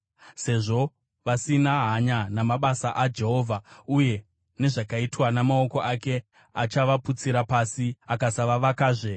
Sezvo vasina hanya namabasa aJehovha uye nezvakaitwa namaoko ake, achavaputsira pasi akasavavakazve.